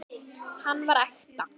Hann var ekta.